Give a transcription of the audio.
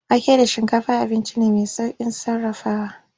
Wake da shinkafa abinci ne mai saukin sarrafawa.